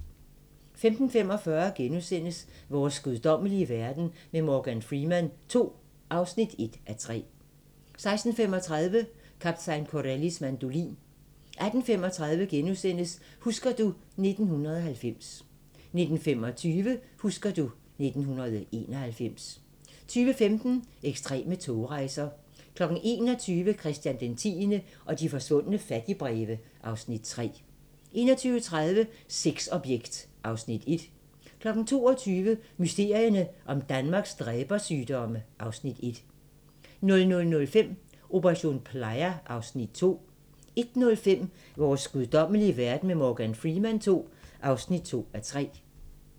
15:45: Vores guddommelige verden med Morgan Freeman II (1:3)* 16:35: Kaptajn Corellis mandolin 18:35: Husker du ... 1990 * 19:25: Husker du ... 1991 20:15: Ekstreme togrejser 21:00: Christian X og de forsvundne fattigbreve (Afs. 3) 21:30: Sexobjekt (Afs. 1) 22:00: Mysterierne om Danmarks dræbersygdomme (Afs. 1) 00:05: Operation Playa (Afs. 2) 01:05: Vores guddommelige verden med Morgan Freeman II (2:3)